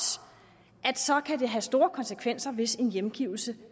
kan det have store konsekvenser hvis en hjemgivelse